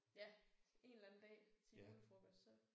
Ja en eller anden dag til julefrokost så